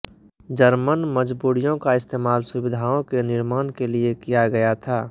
German मजबूरियों का इस्तेमाल सुविधाओं के निर्माण के लिए किया गया था